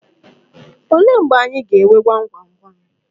Olee mgbe anyị ga-eme gwam gwam gwam?